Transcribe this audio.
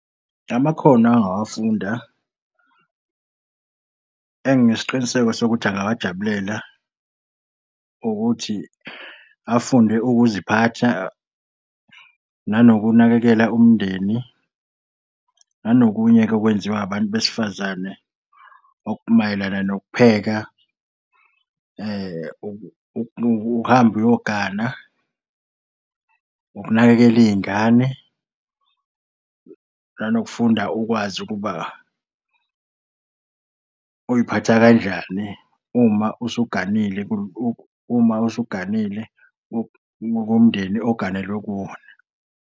Amakhono angawafunda enginesiqiniseko sokuthi angawajabulela ukuthi afunde ukuziphatha, nanokunakekela umndeni nanokunye-ke okwenziwa abantu besifazane okumayelana nokupheka, uhambe uyogana, ukunakekela iy'ngane, nanokufunda ukwazi ukuba uy'phatha kanjani uma usuganile uma usuganile kumndeni oganele kuwo.